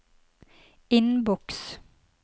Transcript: innboks